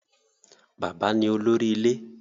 Bàbá ni olórí ilé